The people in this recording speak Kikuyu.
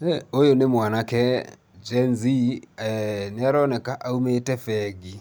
Hĩ ũyũ nĩ mwanake Gen-Z, nĩaroneka aumĩte bengi,